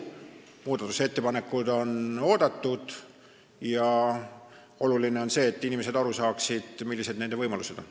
Muudatusettepanekud on oodatud ja oluline on see, et inimesed aru saaksid, millised nende võimalused on.